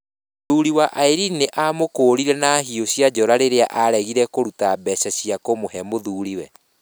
Mũthuri wa Irene nĩ aamakũũrire na hiũ cia njora rĩrĩa aaregire kũruta mbeca cia kũmũhe mũthuriwe.